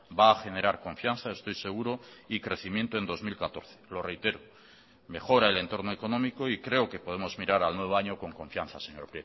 va a generar confianza estoy seguro y crecimiento en dos mil catorce lo reitero mejora el entorno económico y creo que podemos mirar al nuevo año con confianza señor